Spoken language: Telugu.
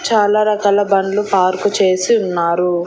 చాలా రకాల బండ్లు పార్కు చేసి ఉన్నారు.